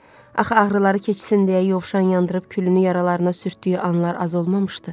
Axı ağrıları keçsin deyə yovşan yandırıb külünü yaralarına sürtdüyü anlar az olmamışdı.